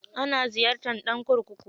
Ana iya ziyarta ɗan kurkuku.